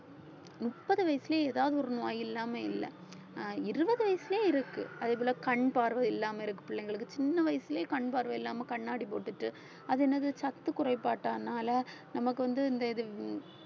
முப்பது வயசுலயே ஏதாவது ஒரு நோய் இல்லாம இல்ல ஆஹ் இருபது வயசிலேயே இருக்கு அதே போல கண் பார்வை இல்லாம இருக்கு பிள்ளைங்களுக்கு சின்ன வயசுலயே கண் பார்வை இல்லாம கண்ணாடி போட்டுட்டு அது என்னது சத்து குறைபாட்டானால நமக்கு வந்து இந்த இது